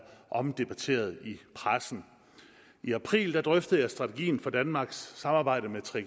omdebatteret i pressen i april drøftede jeg strategien for danmarks samarbejde med